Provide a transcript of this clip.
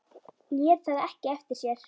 Lét það ekki eftir sér.